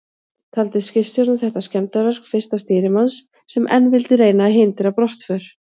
Taldi skipstjórinn þetta skemmdarverk fyrsta stýrimanns, sem enn vildi reyna að hindra brottför.